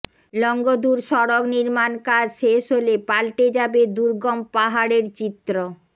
লংগদুর সড়ক নির্মাণকাজ শেষ হলে পাল্টে যাবে দুর্গম পাহাড়ের চিত্র